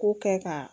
Ko kɛ ka